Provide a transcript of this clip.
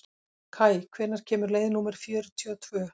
Kaj, hvenær kemur leið númer fjörutíu og tvö?